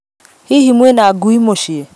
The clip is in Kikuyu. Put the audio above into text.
Hihi mwĩna ngui muciĩ?